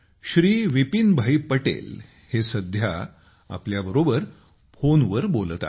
श्री विपिनभाई पटेल हे सध्या आमच्यासोबत फोनवर बोलत आहेत